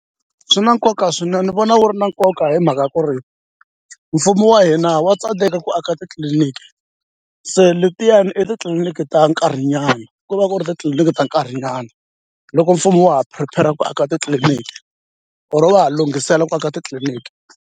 Swi na nkoka swinene ni vona wu ri na nkoka hi mhaka ku ri mfumo wa hina wa tsandeka ku aka titliliniki se letiyani i titliliniki ta nkarhinyana ku va ku ri titliliniki ta nkarhinyana loko mfumo wa ha prepare-ra ku aka titliliniki or va ha lunghisela ku aka titliliniki.